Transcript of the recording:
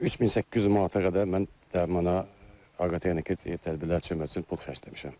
3800 manata qədər mən dərmana aqrotexniki tədbirlər üçün pul xərcləmişəm.